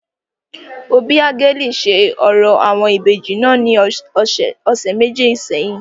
Obiageli ṣe orȯ awọn ibeji naa ni ọsẹ meji sẹhin.